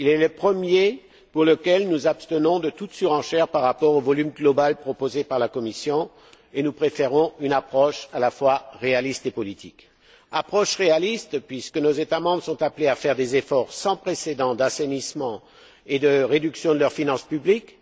Il est le premier pour lequel nous nous abstenons de toute surenchère par rapport au volume global proposé par la Commission et nous préférons une approche à la fois réaliste et politique. Approche réaliste puisque nos États membres sont appelés à faire des efforts sans précédent d'assainissement et de réduction de leurs finances publiques.